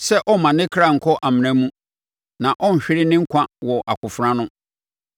sɛ ɔmma ne ɔkra nnkɔ amena mu na ɔnhwere ne nkwa wɔ akofena ano.